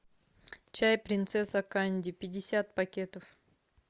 чай принцесса канди пятьдесят пакетов